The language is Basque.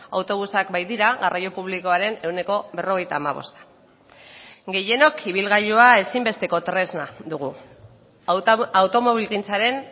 autobusak baitira garraio publikoaren ehuneko berrogeita hamabosta gehienok ibilgailua ezinbesteko tresna dugu automobilgintzaren